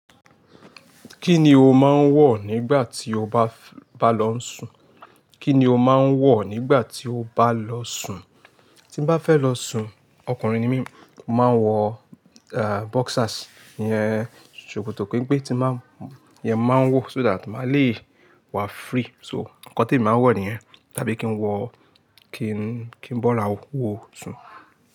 Kíni o máa ń wọ̀ nígbà tí o bá lọ ń sùn? Kíni o máa ń wọ̀ nígbà tí o bá lọ sùn? Tí n bá fẹ́ lọ sùn ọkùnrin ni mí, mo máa ń wọ boxers, iyẹn ṣòkòtò penpe tí máa ń iyen mo maa n wọ so that máa le wa free. So, ǹkan tí èmi máa ń wọ̀ nìyẹn, tàbí kí n wọ̀ kí n bọ́ra wo sùn.